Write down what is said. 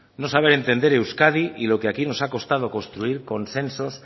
no saber entender euskadi y lo que aquí nos ha costado construir consensos